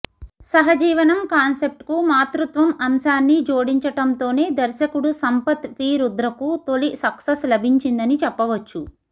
సహజీవనం కాన్సెప్ట్కు మాతృత్వం అంశాన్ని జోడించడంతోనే దర్శకుడు సంపత్ వీ రుద్రకు తొలి సక్సెస్ లభించిందని చెప్పవచ్చు